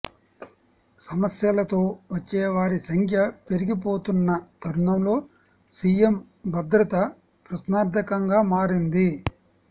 సమస్యలతో వచ్చే వారి సంఖ్య పెరిగిపోతున్న తరుణంలో సీఎం భద్రత ప్రశ్నార్థకంగా మారింది